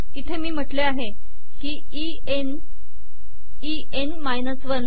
इथे मी म्हटले आहे की ई न् ई न् माइनस 1